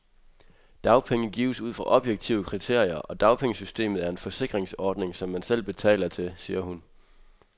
Dagpenge gives ud fra objektive kriterier, og dagpengesystemet er en forsikringsordning, som man selv betaler til, siger hun.